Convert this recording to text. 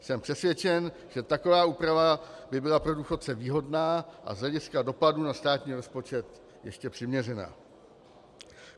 Jsem přesvědčen, že taková úprava by byla pro důchodce výhodná a z hlediska dopadu na státní rozpočet ještě přiměřená.